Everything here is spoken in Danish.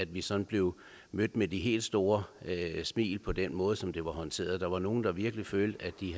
vi sådan blev mødt med de helt store smil på den måde som det var håndteret der var nogle der virkelig følte at de